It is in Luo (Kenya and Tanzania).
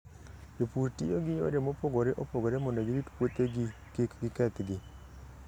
Jopur tiyo gi yore mopogore opogore mondo girit puothegi kik gikethgi.